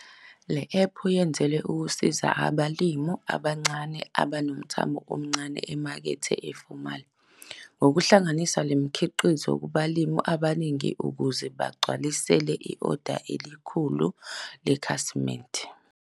Le app yenzelwe ukusiza abalimi abancane abanomthamo omncane emakethe efomali ngokuhlanganisa umkhiqizo kubalimi abaningi ukuze bagcwalise i-oda elikhulu lekhasimende.